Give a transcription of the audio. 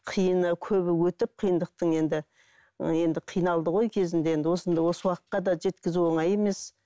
қиыны көбі өтіп қиындықтың енді енді қиналды ғой кезінде енді осы уақытқа да жеткізу оңай емес